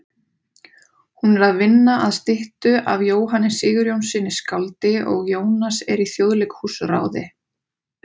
Hún er að vinna að styttu af Jóhanni Sigurjónssyni skáldi og Jónas er í Þjóðleikhúsráði.